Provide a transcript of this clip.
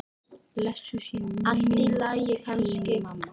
Blessuð sé minning þín mamma.